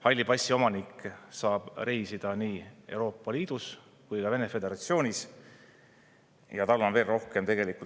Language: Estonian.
Halli passi omanik saab reisida nii Euroopa Liidus kui ka Vene föderatsioonis ja tal on veel rohkem privileege.